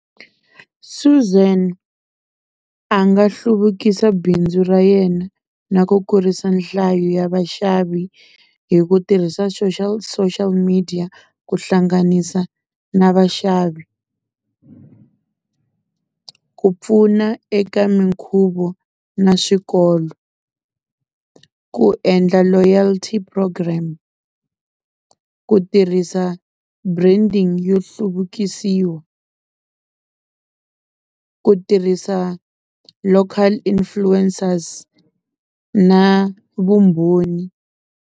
Suzan a nga hluvukisa bindzu ra yena na ku kurisa nhlayo ya vaxavi hi ku tirhisa social social media ku hlanganisa na vaxavi ku pfuna eka minkhuvo na swikolo ku endla loyalty program ku tirhisa branding yo hluvukisiwa ku tirhisa local influencers na vumbhoni.